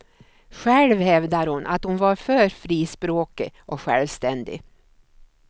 Själv hävdar hon att hon var för frispråkig och självständig.